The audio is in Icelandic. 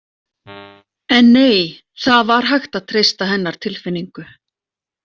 En nei, það var hægt að treysta hennar tilfinningu.